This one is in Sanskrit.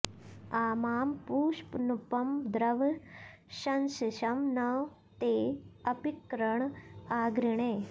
आ मा॑ पूष॒न्नुप॑ द्रव॒ शंसि॑षं॒ नु ते॑ अपिक॒र्ण आ॑घृणे